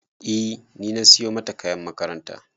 E ni na siyo mata kayan makaranta